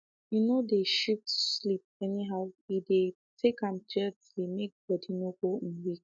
um en no dey shift sleep anyhow e um dey take am gently make body no go um weak